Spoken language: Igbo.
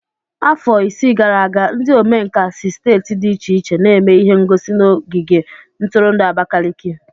Afọ isii gara aga, ndi omenkà si steeti dị iche iche n'eme ihe ngosi n'ogige ntụrụndụ Abakaliki.